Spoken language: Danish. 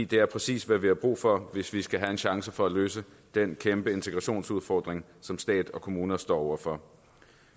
det er præcis hvad vi har brug for hvis vi skal have en chance for at løse den kæmpe integrationsudfordring som stat og kommuner står over for